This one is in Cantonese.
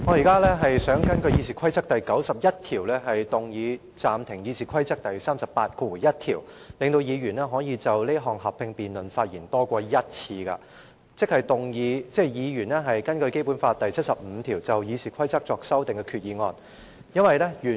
主席，我現在想根據《議事規則》第91條，動議暫停執行《議事規則》第381條，令議員可以就此項合併辯論發言多於1次，即議員根據《基本法》第七十五條就修訂《議事規則》而提出的擬議決議案。